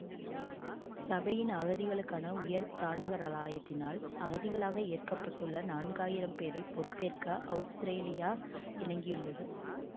சபையின் அகதிகளுக்கான உயர்தானிகராலயத்தினால் அகதிகளாக ஏற்கப்பட்டுள்ள நான்காயிரம் பேரைப் பொறுப்பேற்க அவுஸ்திரேலியா இணங்கியுள்ளது